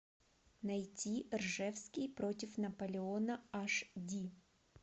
найти ржевский против наполеона аш ди